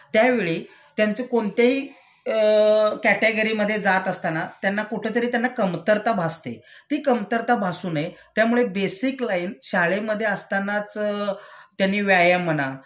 त्यावेळी त्यांचे कोणत्याही अ कॅटेगरीमध्ये जात असताना त्यांना कुठंतरी त्यांना कमतरता भासते.ती कमतरता भासू नये त्यामुळे बेसिक लाईन शाळेमधे असतानाच त्यांनी व्यायाम म्हणा,